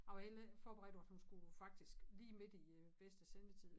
Jeg var egentlig ikke forberedt at hun faktisk lige midt i øh bedste sendetid